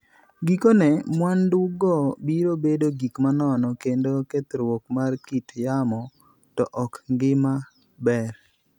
Gikone, mwandugo biro bedo gik manono kendo kethruok mar kit yamo; to ok ngima maber.